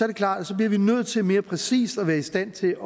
det klart at så bliver vi nødt til mere præcist at være i stand til